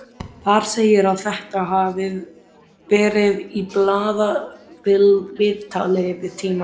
Þar segir að þetta hafi verið í blaðaviðtali við Tímann.